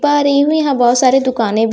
हुईं यहां बहोत सारे दुकानें--